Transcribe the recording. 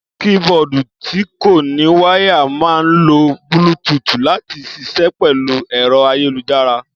Kííboọ̀dù tí kò ní wáyà máà ńlo búlútuùtù láti ṣiṣẹ́ pẹ̀lú ẹ̀rọ ayélujára